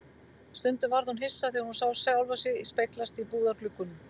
Stundum varð hún hissa þegar hún sá sjálfa sig speglast í búðargluggunum.